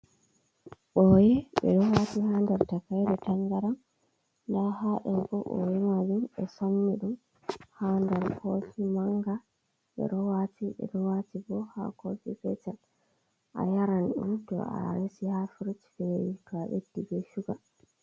Ɓoye ɓe ɗo wati ha nder takaire tangaran, nda ha ɗo bo ɓoye majum ɓe somni ɗum ha nder kofi manga ɓe wati ɓe ɗo wati bo ha kofi petel a yaran ɗum to a resi ha firij fewi to a ɓeddi be shuga.